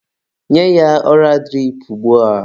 Nye ya ọra dirip ugbua!.